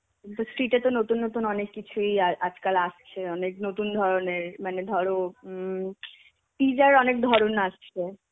Street এ তো নতুন নতুন অনেক কিছুই আ~ আজকাল আসছে. অনেক নতুন ধরনের মানে ধরো উম pizza র অনেক ধরণ আসছে.